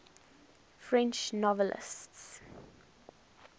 french novelists